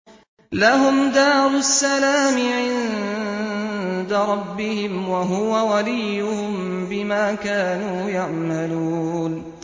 ۞ لَهُمْ دَارُ السَّلَامِ عِندَ رَبِّهِمْ ۖ وَهُوَ وَلِيُّهُم بِمَا كَانُوا يَعْمَلُونَ